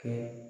Kɛ